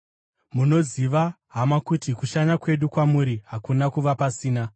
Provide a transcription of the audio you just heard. Munoziva, hama, kuti kushanya kwedu kwamuri hakuna kuva pasina.